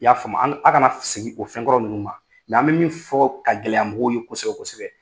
I y'a faamu an a kana segi k'o fɛn kɔrɔ ninnu ma n k'an bɛ min fɔ ka gɛlɛya mɔgɔw ye kosɛbɛ kosɛbɛ.